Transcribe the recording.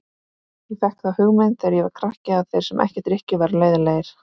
Ég fékk þá hugmynd þegar ég var krakki að þeir sem ekki drykkju væru leiðinlegir.